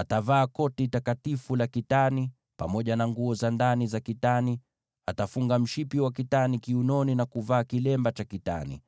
Atavaa koti takatifu la kitani, pamoja na nguo za ndani za kitani; atafunga mshipi wa kitani kiunoni, na kuvaa kilemba cha kitani.